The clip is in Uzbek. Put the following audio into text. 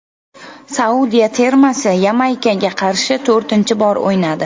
Saudiya termasi Yamaykaga qarshi to‘rtinchi bor o‘ynadi.